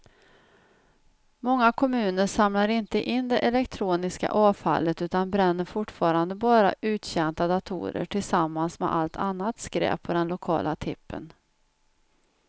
Många kommuner samlar inte in det elektroniska avfallet utan bränner fortfarande bara uttjänta datorer tillsammans med allt annat skräp på den lokala tippen.